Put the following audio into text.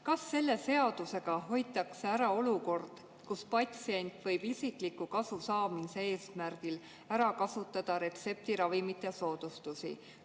Kas selle seadusega hoitakse ära olukord, kus patsient võib isikliku kasu saamise eesmärgil ära kasutada retseptiravimite soodustusi?